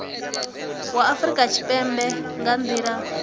wa afurika tshipembe nga nila